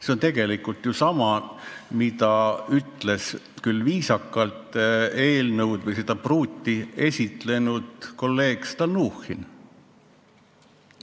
See on tegelikult sama, mida viisakalt väljendudes ütles seda pruuti esitlenud kolleeg Stalnuhhin.